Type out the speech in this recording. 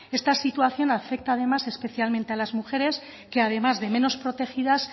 esta situación afecta además especialmente a las mujeres que además de menos protegidas